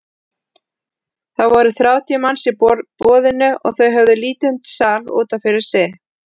Það voru þrjátíu manns í boðinu og þau höfðu lítinn sal út af fyrir sig.